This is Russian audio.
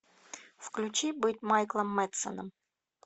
включи быть майклом мэдсеном